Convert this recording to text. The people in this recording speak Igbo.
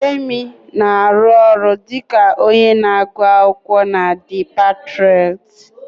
Yemi na-arụ ọrụ dị ka onye na-agụ akwụkwọ na The Patriots